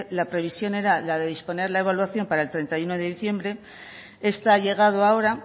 la previsión era la de disponer la evaluación para el treinta y uno de diciembre esta ha llegado ahora